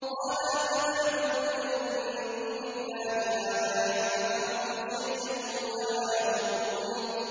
قَالَ أَفَتَعْبُدُونَ مِن دُونِ اللَّهِ مَا لَا يَنفَعُكُمْ شَيْئًا وَلَا يَضُرُّكُمْ